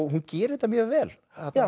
hún gerir þetta mjög vel